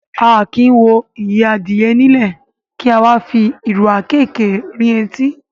A kì í wo ìyẹ́ adìyẹ nílẹ̀, kí a wá fi ìrù àkéékèé rin etí.